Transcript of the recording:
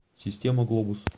система глобус